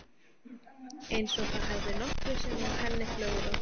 Eins og það hefði nokkru sinni að henni flögrað.